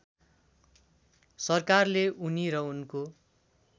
सरकारले उनी र उनको